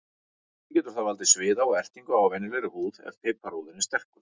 Einnig getur það valdið sviða og ertingu á venjulegri húð ef piparúðinn er sterkur.